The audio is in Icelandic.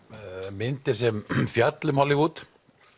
myndir sem fjalla um Hollywood